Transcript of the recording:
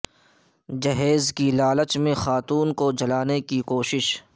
جہیز کی لالچ میں خاتون کو جلانے کی کوشش